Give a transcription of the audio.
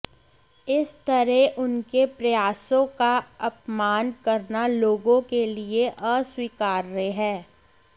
इस तरह उनके प्रयासों का अपमान करना लोगों के लिए अस्वीकार्य है